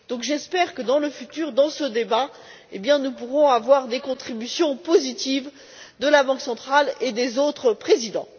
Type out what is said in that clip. J'espère que dans le futur, dans ce débat, nous pourrons avoir des contributions positives de la Banque centrale et des autres présidents.